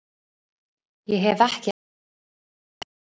Ég hef ekki alveg svarið.